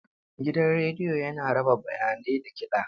Gidan rediyo yana raba bayanai da kiɗa.